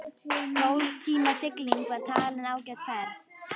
Tólf tíma sigling var talin ágæt ferð.